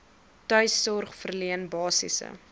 tuissorg verleen basiese